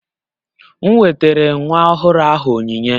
M wetara nwa ọhụrụ ahụ onyinye